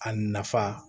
A nafa